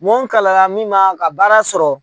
Mɔn kalara min ma ka baara sɔrɔ.